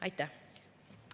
Aitäh!